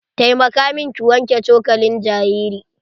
Taimaka min ki wanke cokalin jariri.